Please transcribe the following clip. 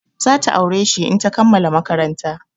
Za ta aure shi in ta kammala maƙaranta.